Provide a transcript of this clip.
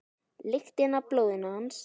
Lyktina af blóði hans.